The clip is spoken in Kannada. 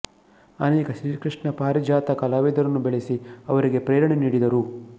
ಅನೇಕ ಶ್ರೀಕೃಷ್ಣ ಪಾರಿಜಾತ ಕಲಾವಿದರನ್ನು ಬೆಳೆಸಿ ಅವರಿಗೆ ಪ್ರೇರಣೆ ನೀಡಿದರು